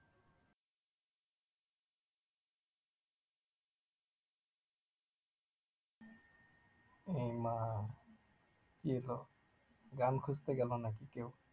এই মা কি হল গান খুঁজতে গেল নাকি কেউ